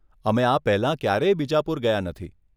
અમે આ પહેલાં ક્યારેય બીજાપુર ગયાં નથી.